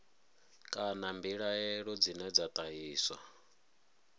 kana mbilaelo dzine dza ṱahiswa